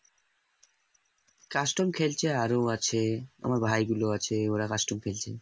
custom খেলছে আরও আছে আমার ভাই গুলো আছে ওরা custom খেলছে